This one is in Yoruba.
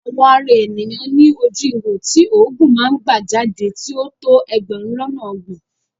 Àwọ̀ ara ènìyàn ní ojú ihò tí òógùn máa ń gbà jáde tí ó tó ẹgbẹ̀rún lọ́nà ọgbọ̀n.